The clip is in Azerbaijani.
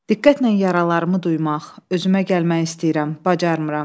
Diqqətlə yaralarımı duymaq, özümə gəlmək istəyirəm, bacarmıram.